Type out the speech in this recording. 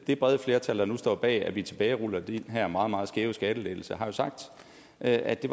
det brede flertal der nu står bag at vi tilbageruller den her meget meget skæve skattelettelse har jo sagt at det